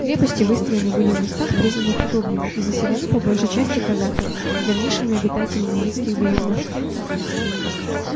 крепости выстроены были в местах признанных удобными и заселены по большей части казаками давнишними обитателями яицких берегов